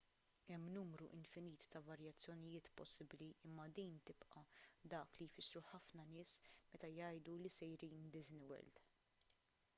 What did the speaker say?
hemm numru infinit ta' varjazzjoniiet possibbli imma din tibqa' dak li jfissru ħafna nies meta jgħidu li sejrin disney world